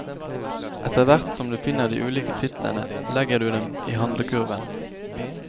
Etter hvert som du finner de ulike titlene, legger du dem i handlekurven.